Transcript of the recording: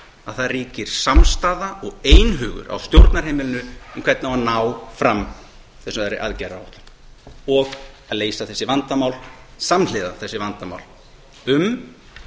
að það ríkir samstaða og einhugur á stjórnarheimilinu um hvernig á að ná fram þessari aðgerðaáætlun og að leysa þessi vandamál samhliða þessi vandamál um